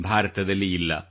ಭಾರತದಲ್ಲಿ ಇಲ್ಲ